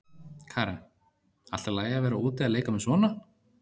Karen: Allt í lagi að vera úti að leika með svona?